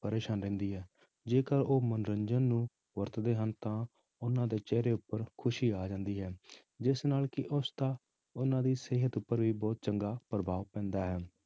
ਪਰੇਸਾਨ ਰਹਿੰਦੀ ਹੈ, ਜੇਕਰ ਉਹ ਮਨੋਰੰਜਨ ਨੂੰ ਵਰਤਦੇ ਹਨ ਤਾਂ ਉਹਨਾਂ ਦੇ ਚਿਹਰੇ ਉੱਪਰ ਖ਼ੁਸ਼ੀ ਆ ਜਾਂਦੀ ਹੈ ਜਿਸ ਨਾਲ ਕਿ ਉਸਦਾ ਉਹਨਾਂ ਦੀ ਸਿਹਤ ਉੱਪਰ ਵੀ ਬਹੁਤ ਚੰਗਾ ਪ੍ਰਭਾਵ ਪੈਂਦਾ ਹੈ।